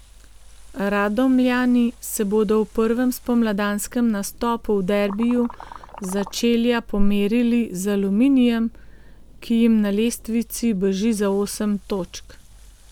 Radomljani se bodo v prvem spomladanskem nastopu v derbiju začelja pomerili z Aluminijem, ki jim na lestvici beži za osem točk.